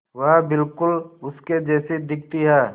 वह बिल्कुल उसके जैसी दिखती है